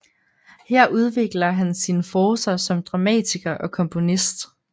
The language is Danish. Her udvikler han sine forcer som dramatiker og komponist